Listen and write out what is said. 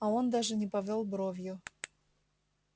а он даже не повёл бровью